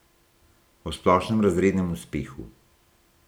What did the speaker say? O splošnem razrednem uspehu.